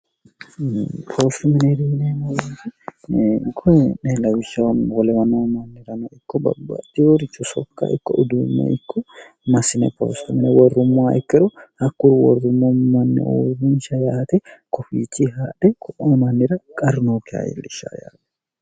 oosu minerinenoyik'nelwshsolewnoo mannirano ikko babbatiworichu sokka ikko uduumme ikko masine poosto mine worrummoa ikkero hakkur worrummo manni uorrinsha yaate kofichi haadhe ko'oo mannira qarnooke hayiillishsha yaani